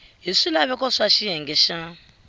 hi swilaveko swa xiyenge xa